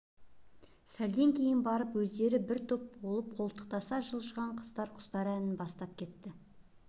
сәлден кейін барып өздері бір топ болып қолтықтаса жылжыған қыздар құстар әнін бастап кетті